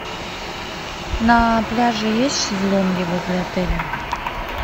на пляже есть шезлонги возле отеля